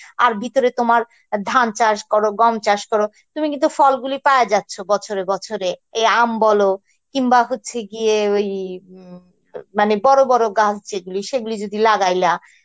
আর ভিতরে তোমার ধান চাষ করো গম চাষ করো তুমি কিন্তু ফলগুলি পাওয়া যাচ্ছে বছরে বছরে, এই আম বল কিংবা হচ্ছে গিয়ে ওই, মানে বড় বড় গাছগুলি সেগুলো যদি লাগাইলা